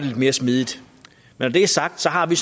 lidt mere smidigt når det er sagt har vi